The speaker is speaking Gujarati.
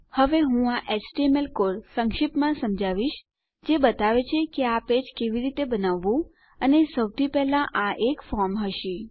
હવે હું આ એચટીએમએલ કોડ સંક્ષિપ્તમાં સમજાવીશ જે બતાવે છે કે આ પેજ કેવી રીતે બનાવવું અને સૌથી પહેલા આ એક ફોર્મ હશે